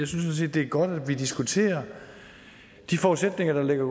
synes det er godt at vi diskuterer de forudsætninger der ligger